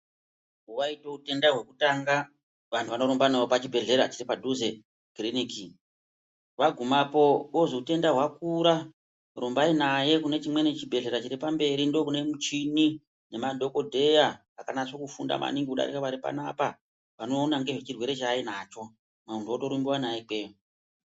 Waita utenda hwekutanga vantu vanorumba naye pachibhedhleya chiri padhuze kiriniki wagumapo kozi utenda hwakura rumbai naye kune chimweni pachibhehleya chiri pamberi ndokune muchini nemadhokotera akanasa kufunda maningi kudarika varipanapa vonoona ngezvechirwere chaainacho muntu otorumbiwa naye ikweyo.